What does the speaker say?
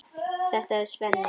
Þetta er Svenni.